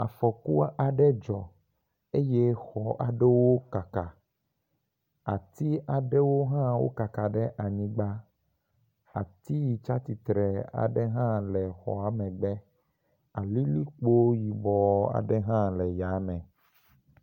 Afɔku aɖe dzɔ eye xɔ aɖewo kaka. Ati aɖewohã wo kaka ɖe anyigba. Ati yi tsi atsitre aɖe hã le xɔa megbe alilikpo yibɔ aɖe hã le yame.